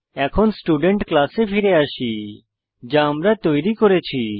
এখন স্টুডেন্ট ক্লাসে ফিরে আসি যা আমরা তৈরী করেছি